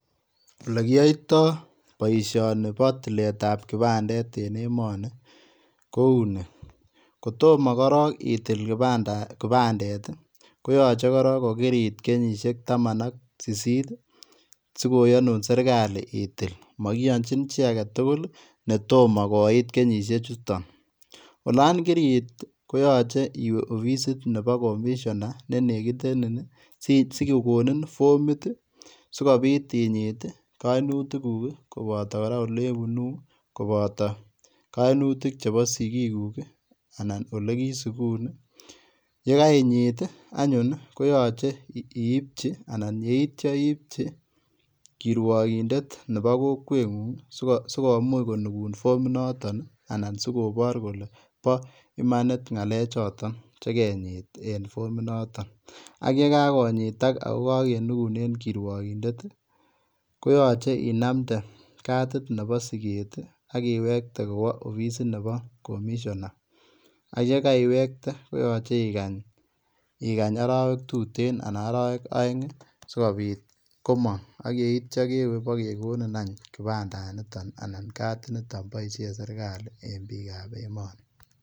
Olegiyoitoi boisioni bo tiletab kipandet en emoni, kou ni; kotomo korok itil kipandet ii, koyache korok ko kiriit kenyisiek tamanak sisit ii sigoyanun serkali itil. Magiyonchin chi agetugul ii ne tomo koit kenyisie chuton. Olan kiriit koyache iwe opisit nebo Commisioner ne negitenin ii sigogonin ii fomit ii sigopit inyit, kainutikguk koboto olebunu koboto kainutik chebo sigiguk anan olegisigun ii. Ye kainyit anyun koyache iipchi anan yeitya iipchi kirwogindet nebo kokwengung sigomuch konugun fomit noton anan sigobor kole bo imanit ngale choton che genyit en fominoto. Ak ye kagonyitak ago kagenugun en kirwogindet ii koyache inamnde kadit nobo siget ii ak iwekte kowo opisit nebo Commisioner ak ye kaiwekte koyache igany, igany arawek tuten ana arawek aeng sigopit komong ak yeitya bo kegonin any kipandanito anan kadit nito boisien serkali en biikab emoni.